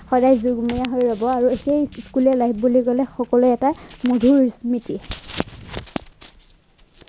সদায় যুগমীয়া হৈ ৰ'ব আৰু এইটোৱেই school ৰ life বুলি ক'লে সকলোৰে এটা মধুৰ স্মৃতি